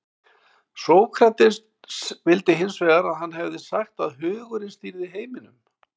sókrates vildi hins vegar að hann hefði sagt að hugurinn stýrði heiminum